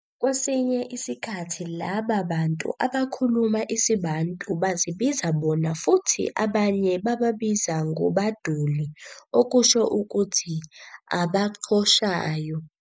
Kwesinye isikhathi, laba bantu abakhuluma isiBantu bazibiza bona-futhi abanye bababiza ngoBaduuli okusho ukuthi "Abaqhoshayo".